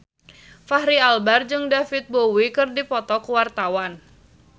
Fachri Albar jeung David Bowie keur dipoto ku wartawan